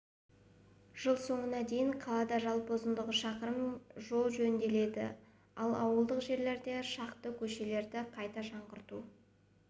жыл соңына дейін қалада жалпы ұзындығы шақырым жол жөнделеді ал ауылдық жерлерде шақты көшені қайта жаңғырту